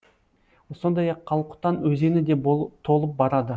сондай ақ қалқұтан өзені де толып барады